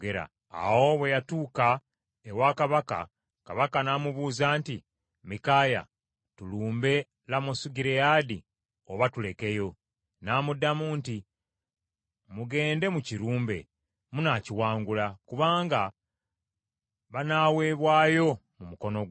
Awo bwe yatuuka ewa kabaka, kabaka n’amubuuza nti, “Mikaaya tulumbe Lamosugireyaadi, oba tulekeyo?” N’amuddamu nti, “Mugende mukirumbe, munaakiwangula, kubanga banaaweebwayo mu mukono gwo.”